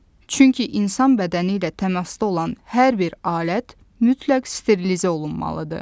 Çünki insan bədəni ilə təmasda olan hər bir alət mütləq sterilizə olunmalıdır.